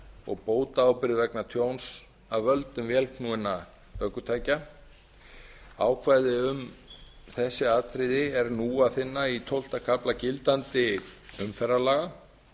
og bótaábyrgð vegna tjóns af völdum vélknúinna ökutækja ákvæði um þessi atriði er nú að finna í tólfta kafla gildandi umferðarlaga